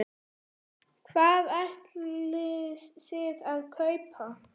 Hvað ætlið þið að kaupa?